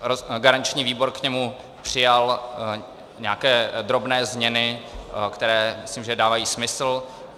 Garanční výbor k němu přijal nějaké drobné změny, které myslím, že dávají smysl.